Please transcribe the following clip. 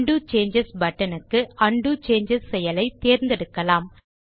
உண்டோ சேஞ்சஸ் buttonக்கு undo changes செயலை தேர்ந்தெடுக்கலாம்